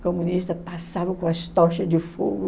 comunista passava com as tochas de fogo.